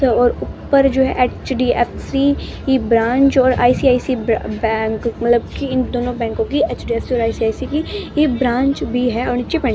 और ऊपर जो है एच_डी_एफ_सी की ब्रांच और आईसीआईसी बैंक मतलब कि इन दोनों बैंकों की एच_डी_एफ_सी और आईसीआईसी की ये ब्रांच भी है और नीचे पैन --